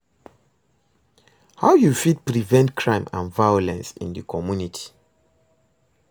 how you fit prevent crime and violence in di community?